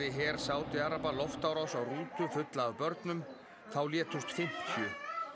her Sádi araba loftárás á rútu fulla af börnum þá létust fimmtíu